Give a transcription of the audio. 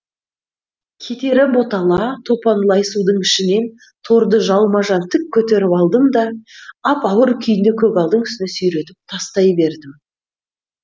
кетері ботала топан лай судың ішінен торды жалма жан тік көтеріп алдым да ап ауыр күйінде көгалдың үстіне сүйретіп тастай бердім